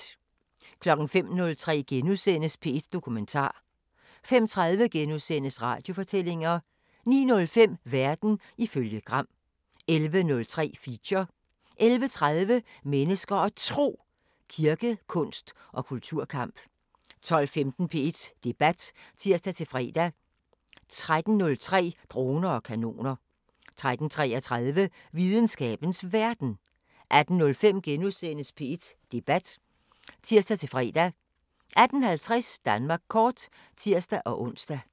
05:03: P1 Dokumentar * 05:30: Radiofortællinger * 09:05: Verden ifølge Gram 11:03: Feature 11:30: Mennesker og Tro: Kirke, kunst og kulturkamp 12:15: P1 Debat (tir-fre) 13:03: Droner og kanoner 13:33: Videnskabens Verden 18:05: P1 Debat *(tir-fre) 18:50: Danmark kort (tir-ons)